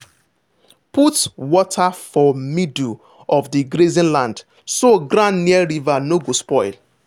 put water for middle of the grazing land so ground near river no go spoil.